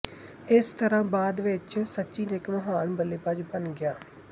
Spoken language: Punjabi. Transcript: ਇਸ ਤਰ੍ਹਾਂ ਬਾਅਦ ਵਿੱਚ ਸਚਿਨ ਇੱਕ ਮਹਾਨ ਬੱਲੇਬਾਜ਼ ਬਣ ਗਿਆ